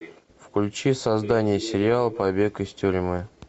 включи создание сериала побег из тюрьмы